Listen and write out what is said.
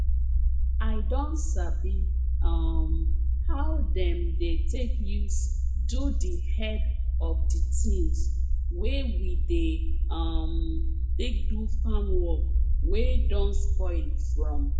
i don sabi um how dem dey take use do di head of di tins wey we dey um take do farm work wey don spoil from